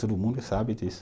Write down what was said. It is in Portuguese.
Todo mundo sabe disso.